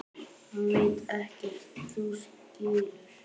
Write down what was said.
Hann veit ekkert. þú skilur.